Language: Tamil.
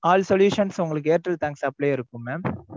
all solution உங்களுக்கு airtel thanks app லயே இருக்கு mam